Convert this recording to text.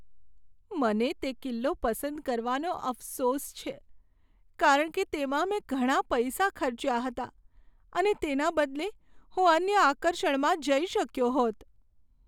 મને તે કિલ્લો પસંદ કરવાનો અફસોસ છે, કારણ કે તેમાં મેં ઘણા પૈસા ખર્ચ્યા હતા, અને તેના બદલે હું અન્ય આકર્ષણમાં જઈ શક્યો હોત.